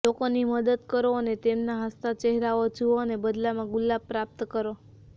લોકોની મદદ કરો અને તેમના હસતા ચહેરાઓ જુઓ અને બદલામાં ગુલાબ પ્રાપ્ત કરો